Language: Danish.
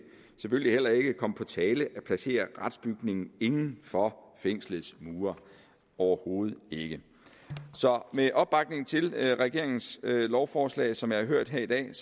selvfølgelig heller ikke komme på tale at placere retsbygningen inden for fængslets mure overhovedet ikke så med den opbakning til regeringens lovforslag som jeg har hørt her i dag